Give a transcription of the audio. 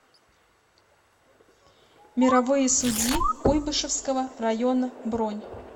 мировые судьи куйбышевского района бронь